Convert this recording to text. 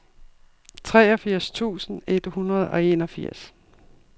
treogfirs tusind et hundrede og enogfirs